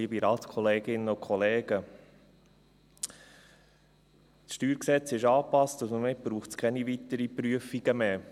Das StG ist angepasst, und somit braucht es keine weiteren Prüfungen mehr.